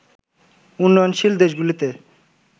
উন্নয়নশীল দেশগুলিতে